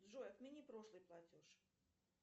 джой отмени прошлый платеж